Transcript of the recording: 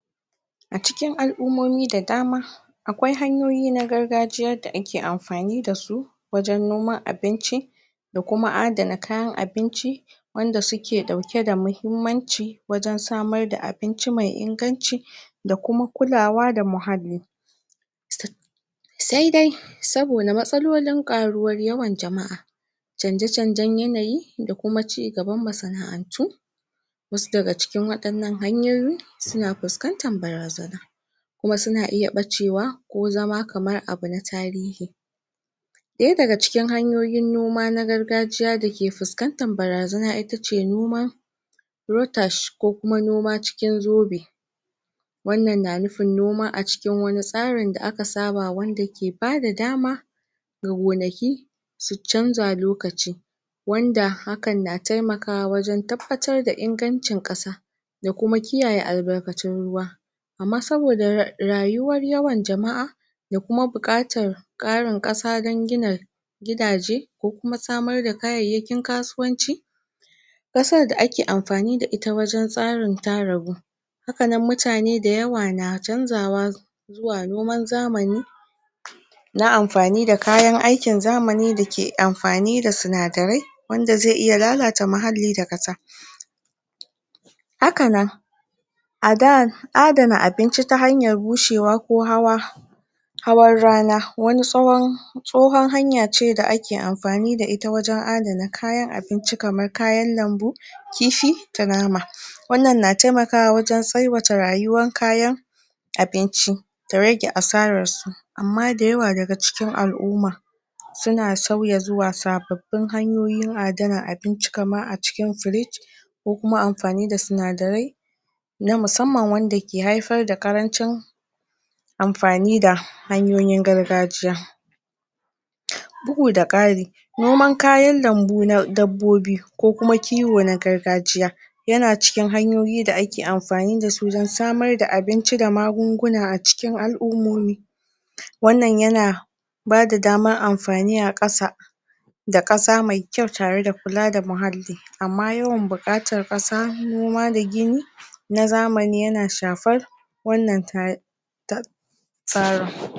a cikin al'umomi da dama akwai hanyoyi na gargajiyar da ake amfani da su wajen noman abinci da kuma adana kayan abinci wanda suke ɗauke da muhimmanci wajen samar da abinci mai inganci da kuma kulawa da muhalli sth sai dai saboda matsalolin ƙaruwar yawan jama'a canje canjen yanayi da kuma ci gaban yanayisaboda masana'antu wasu daga cikin waɗannan hanyoyi suna fuskantar barazana kuma suna iya ɓacewa ko zama kamar abu na tarihi ɗaya daga cikin hanyoyin noma na gargajiya dake fuskantar barazana itace noman rotash ko kuma noma cikin zobe annan na nufin noma a cikin wani tsarin da aka saba wanda ke bada dama ga gonaki su canza lokaci wanda hakan na taimakawa wajen tabbatar da ingancin ƙasa da kuma kiyaye albarkatun ruwa amma saboda rrayuwar yawan jama'a da kuma buƙatar ƙarin ƙasa dan gina gidaje ko kuma samar da kayayyakin kasuwanci ƙasar da ake amfani da ita wajen tsarin ta ragu haka nan mutane dayawa na canzawa zuwa noman zamani na amfani da kayan aikin zamani dake amfani da sinadarai wanda zai iya lalata muhalli da ƙasa haka nan a da adana abinci ta hanyar bushewa ko hawa hawan rana wani tsawon tsohon hanya ce da ake amfani da ita wajen adana kayan abinci kamar kayan lambu kifi da nama hmm wannan na taimakawa wajen tsaiwata rayuwan kayan abinci da rage asararsu amma dayawa daga cikin al'uma suna sauya zuwa sababbin hanyoyin adana abinci kamar a cikin frij ko kuma amfani da sindarai na musamman wanda ke haifar da ƙarancin amfani da hanyoyin gargajiya huh noman kayan lambu na dabbobi ko kuma kiwo na gargajiya yana cikin hanyoyi da ake amfani dasu dan samar da abinci da magunguna a cikin al'umomi huh wannan yana bada damar amfani a ƙasa da ƙasa mai kyau tare da kula da muhalli amma yawan buƙatar ƙasa noma da gini na zamani yana shafar wannan ta tat tsarin